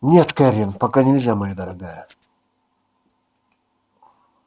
нет кэррин пока нельзя моя дорогая